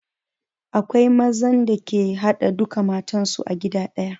Akwai mazan da ke haɗa duka matan su a gida ɗaya